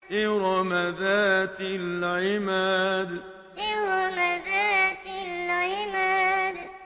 إِرَمَ ذَاتِ الْعِمَادِ إِرَمَ ذَاتِ الْعِمَادِ